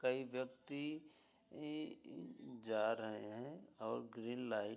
कई व्यक्ति ई जा रहे हैं और ग्रीन लाइट --